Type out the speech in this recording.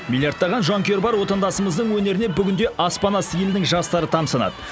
миллаиртаған жанкүйері бар отандасымыздың өнеріне бүгінде аспан асты елінің жастары тамсанады